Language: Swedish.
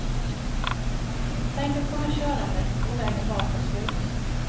Tänk att komma körande och vägen bara tar slut.